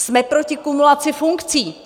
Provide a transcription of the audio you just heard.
Jsme proti kumulaci funkcí!